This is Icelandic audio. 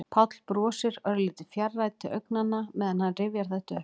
Páll brosir, örlítið fjarrænn til augnanna meðan hann rifjar þetta upp.